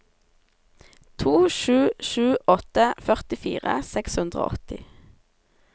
to sju sju åtte førtifire seks hundre og åtti